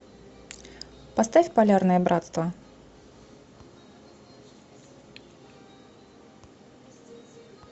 поставь полярное братство